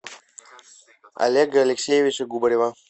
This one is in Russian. олега алексеевича губарева